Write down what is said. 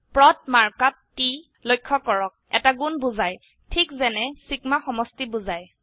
প্ৰদ mark আপ টি লক্ষ্য কৰক এটা গুন বোঝায় ঠিক যেনে ছিগমা সমষ্টি বোঝায়